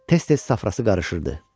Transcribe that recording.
Tez-tez safrası qarışırdı.